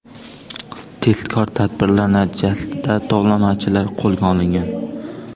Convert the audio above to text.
Tezkor tadbirlar natijasida tovlamachilar qo‘lga olingan.